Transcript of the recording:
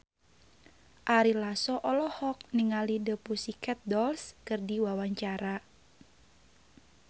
Ari Lasso olohok ningali The Pussycat Dolls keur diwawancara